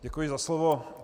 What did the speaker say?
Děkuji za slovo.